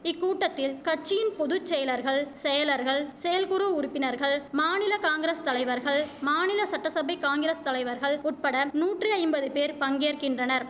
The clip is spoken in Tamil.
இக்கூட்டத்தில் கட்சியின் பொதுச்செயலர்கள் செயலர்கள் செயல்குறு உறுப்பினர்கள் மாநில காங்கிரஸ் தலைவர்கள் மாநில சட்டசபை காங்கிரஸ் தலைவர்கள் உட்படம் நூற்றி ஐம்பது பேர் பங்கேற்கின்றனர்